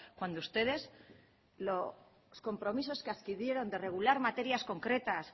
cuando ustedes los compromisos que adquirieron de regular materias concretas